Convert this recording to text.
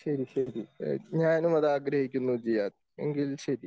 ശരി ശരി ഞാനും അത് ആഗ്രഹിക്കുന്നു ജിയാദ് എങ്കിൽ ശരി.